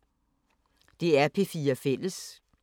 DR P4 Fælles